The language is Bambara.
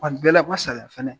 bɛɛ la n man saliya fɛnɛ.